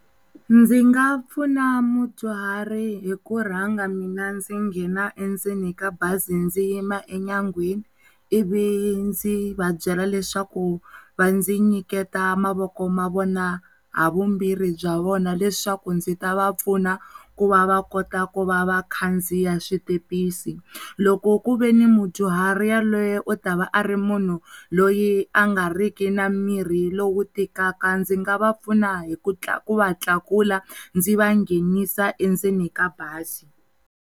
Ndzi nga pfuna mudyuhari hi ku rhanga mina ndzi nghena endzeni ka bazi ndzi yima enyangweni ivi dzi va byela leswaku vandzi nyiketa mavoko mavona ha vumbirhi bya wona leswaku ndzi ta vapfuna ku va va kota ku va vakhandziya switempisi loko ku ve ni mudyuhari ya loye u tava a ri munhu loyi a nga riki na mirhi lowu tikaka, ndzi nga va pfuna hi ku va tlaku ndzi vanghenisa endzeni ka bazi.